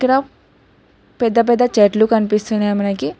పెద్ద పెద్ద చెట్లు కనిపిస్తున్నాయి మనకి.